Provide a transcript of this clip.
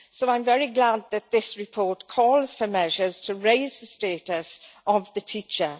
So I am very glad that this report calls for measures to raise the status of the teacher.